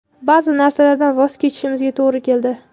Ba’zi narsalardan voz kechishimizga to‘g‘ri keldi.